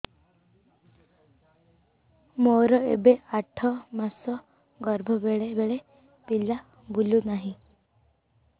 ମୋର ଏବେ ଆଠ ମାସ ଗର୍ଭ ବେଳେ ବେଳେ ପିଲା ବୁଲୁ ନାହିଁ